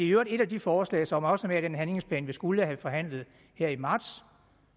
øvrigt et af de forslag som også er med i den handlingsplan vi skulle have forhandlet her i marts